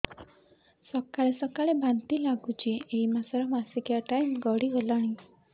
ସକାଳେ ସକାଳେ ବାନ୍ତି ଲାଗୁଚି ଏଇ ମାସ ର ମାସିକିଆ ଟାଇମ ଗଡ଼ି ଗଲାଣି